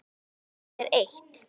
Svo miklu eru eytt.